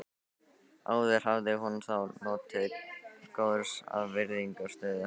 Áður hafði hún þó notið góðs af virðingarstöðu hans.